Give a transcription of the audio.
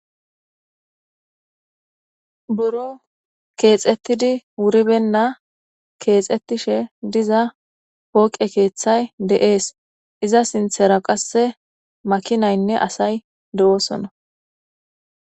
Buro kexetid wuri beyina kexetishe diza pooqe keethay de'es .iza sinthera qase makinayinne assay dosona.